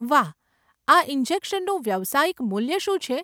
વાહ, આ ઈન્જેકશનનું વ્યવસાયિક મૂલ્ય શું છે?